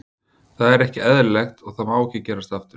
Það er ekki eðlilegt og það má ekki gerast aftur.